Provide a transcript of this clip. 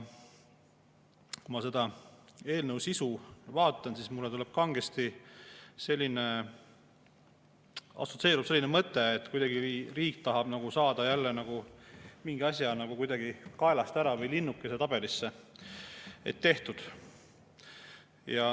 Kui ma selle eelnõu sisu vaatan, siis mulle kangesti assotsieerub selline mõte, et riik tahab kuidagi saada jälle mingi asja kaelast ära või linnukese tabelisse tehtud.